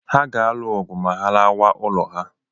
Ha ga-alụ ọgụ ma ha lawa ụlọ ha.